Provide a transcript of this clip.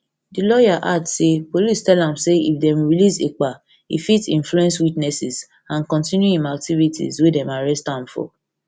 di lawyer add say police tell am say if dem release ekpa e fit influence witnesses and kontinu im activities activities wey dem arrest am for